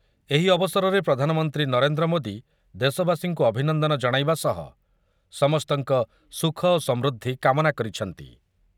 ଏହି ଅବସରରେ ପ୍ରଧାନମନ୍ତ୍ରୀ ନରେନ୍ଦ୍ର ମୋଦି ଦେଶବାସୀଙ୍କୁ ଅଭିନନ୍ଦନ ଜଣାଇବା ସହ ସମସ୍ତଙ୍କ ସୁଖ ଓ ସମୃଦ୍ଧି କାମନା କରିଛନ୍ତି ।